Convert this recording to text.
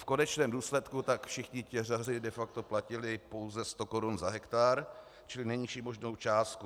V konečném důsledku tak všichni těžaři de facto platili pouze 100 korun za hektar, čili nejnižší možnou částku.